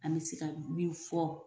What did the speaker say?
An bɛ se ka min fɔ